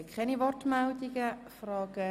– Ich sehe keine Wortmeldungen und frage